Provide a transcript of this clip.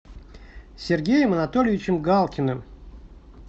сергеем анатольевичем галкиным